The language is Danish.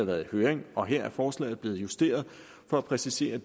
været i høring og her er forslaget blevet justeret for at præcisere